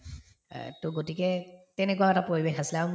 এহ্ to গতিকে তেনেকুৱাও এটা পৰিৱেশ আছিলে আৰু